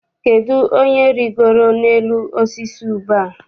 Kedụ onye rigoro n'elu osisi ube a?